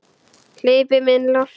Hleypum inn lofti.